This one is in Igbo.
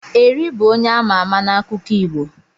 Eri bụ onye ama ama n'akụkọ Igbo.